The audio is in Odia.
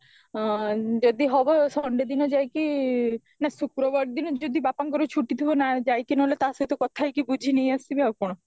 ଆଁ ଯଦି ହବ sunday ଦିନ ଯାଇକି ନା ଶୁକ୍ରବାର ଦିନ ଯଦି ବାପଙ୍କର ଛୁଟି ଥିବ ଯାଇକି ନହେଲେ ତା ସହିତ କଥା ହେଇକି ବୁଝି ନେଇ ଆସିବି ଆଉ କଣ